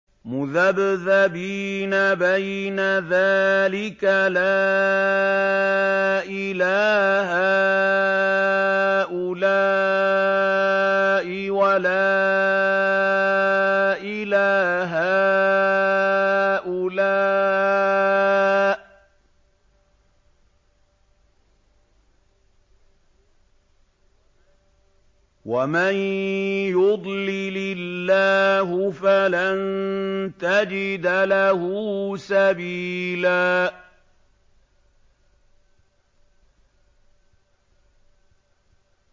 مُّذَبْذَبِينَ بَيْنَ ذَٰلِكَ لَا إِلَىٰ هَٰؤُلَاءِ وَلَا إِلَىٰ هَٰؤُلَاءِ ۚ وَمَن يُضْلِلِ اللَّهُ فَلَن تَجِدَ لَهُ سَبِيلًا